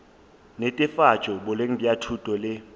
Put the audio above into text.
netefatšo boleng bja thuto le